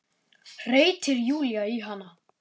hreytir Júlía í hana.